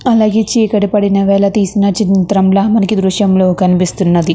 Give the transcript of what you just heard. అలాగే చీకటి పడిన వేల తీసిన చిత్రం లా మనకి ఈ దృశ్యం లో కనిపిస్తున్నది.